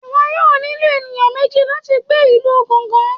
iwọ yọọ nílo enìyan mejí lati gbe ilu Ganga